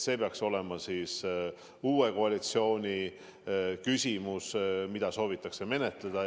See peaks olema uue koalitsiooni otsus, mida soovitakse menetleda.